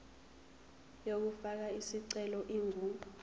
yokufaka isicelo ingu